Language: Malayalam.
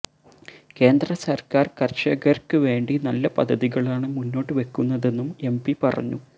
കേന്ദ്ര സര്ക്കാര് കര്ഷകര്ക്ക് വേണ്ടി നല്ല പദ്ധതികളാണ് മുന്നോട്ട് വെക്കുന്നതെന്നും എംപി പറഞ്ഞു